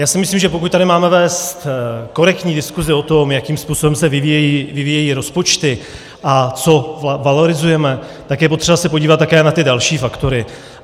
Já si myslím, že pokud tady máme vést korektní diskusi o tom, jakým způsobem se vyvíjejí rozpočty a co valorizujeme, tak je potřeba se podívat také na ty další faktory.